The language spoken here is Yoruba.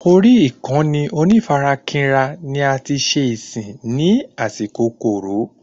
Orí ìkànnì onífarakínra ni ati ṣe ìsìn ní àsìkò Coro